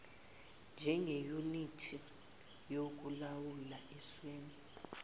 njengeyunithi yokulawula eswini